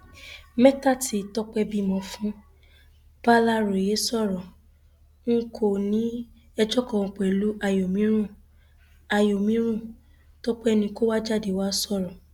mẹta tí tọpẹ bímọ fún bàlàròyé sọrọ n kò ní ẹjọ kankan pẹlú àyòmírún tọpẹ ni kò jáde wàá sọrọ